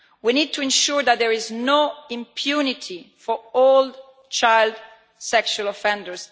We need to ensure that there is no impunity for any child sexual offender.